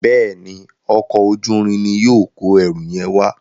Béèni Ọkọ̀ ojú-irin ní yóò kọ ẹrù yen wá.